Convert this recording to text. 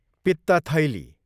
पित्त थैली